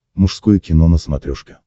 мужское кино на смотрешке